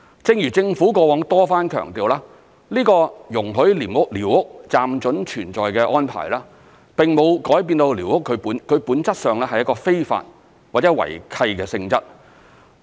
正如政府過往多番強調，這個容許寮屋"暫准存在"的安排，並沒有改變寮屋本質上是一個非法或違契的性質。